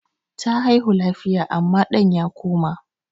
Ta haihu lafiya amma ɗan ya koma.